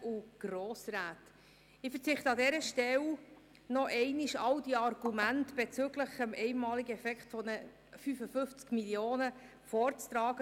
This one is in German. Ich verzichte an dieser Stelle darauf, noch einmal alle Argumente bezüglich des einmaligen Effekts der 55 Mio. Franken vorzutragen.